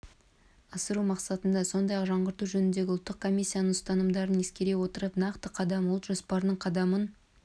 асыру мақсатында сондай-ақ жаңғырту жөніндегі ұлттық комиссияның ұсынымдарын ескере отырып нақты қадам ұлт жоспарының қадамын